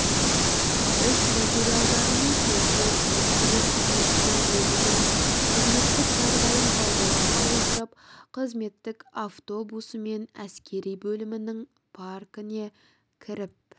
іс материалдарына сәйкес әскери қызметші өзінің қызметтік жағдайын пайдалана отырып қызметтік автобусымен әскери бөлімінің паркіне кіріп